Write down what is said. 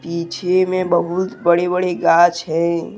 पीछे में बहुत बड़े बड़े ग़ाछ हैं।